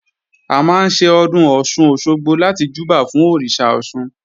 A máa ń ṣe Ọdún Ọ̀sun-Òsogbo láti júbà fún Òrìṣà Ọ̀ṣun